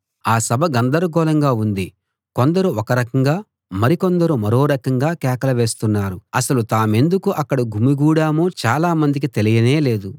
ఆ సభ గందరగోళంగా ఉంది కొందరు ఒక రకంగా మరికొందరు మరో రకంగా కేకలు వేస్తున్నారు అసలు తామెందుకు అక్కడ గుమిగూడామో చాలా మందికి తెలియనే లేదు